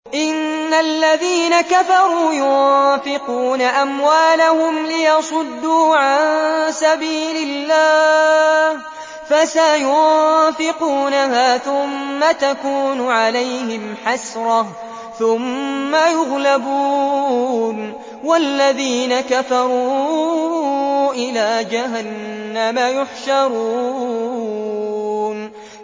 إِنَّ الَّذِينَ كَفَرُوا يُنفِقُونَ أَمْوَالَهُمْ لِيَصُدُّوا عَن سَبِيلِ اللَّهِ ۚ فَسَيُنفِقُونَهَا ثُمَّ تَكُونُ عَلَيْهِمْ حَسْرَةً ثُمَّ يُغْلَبُونَ ۗ وَالَّذِينَ كَفَرُوا إِلَىٰ جَهَنَّمَ يُحْشَرُونَ